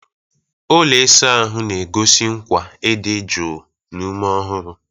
Ụlọ ịsa ahụ na-egosi nkwa ịdị jụụ na ume ọhụrụ.